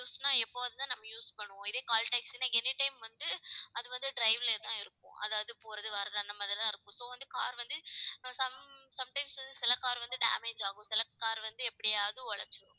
use ன்னா எப்பவாவதுதான் நம்ம use பண்ணுவோம் இதே call taxi ன்னா anytime வந்து அது வந்து drive லயே தான் இருக்கும். அதாவது போறது, வர்றது அந்த மாதிரிதான் இருக்கும். so வந்து car வந்து some, sometimes வந்து சில car வந்து damage ஆகும். சில car வந்து எப்படியாவது உடைஞ்சிரும்.